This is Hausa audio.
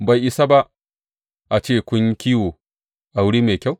Bai isa ba a ce kun yi kiwo a wuri mai kyau?